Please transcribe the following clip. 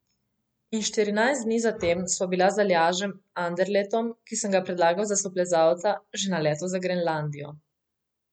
In štirinajst dni zatem sva bila z Aljažem Anderletom, ki sem ga predlagal za soplezalca, že na letalu za Grenlandijo.